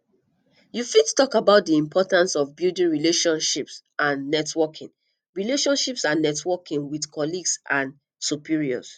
you fit talk about di importance of building relationships and networking relationships and networking with colleagues and superiors